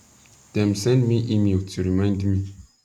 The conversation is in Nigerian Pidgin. dem send me email to remind me